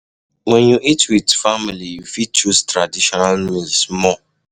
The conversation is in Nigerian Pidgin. When you eat with family, you fit choose traditional meals more